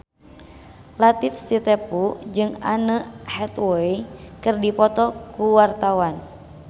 Latief Sitepu jeung Anne Hathaway keur dipoto ku wartawan